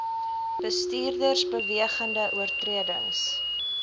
bestuurders bewegende oortredings